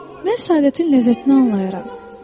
Mən səadətin ləzzətini anlayaram.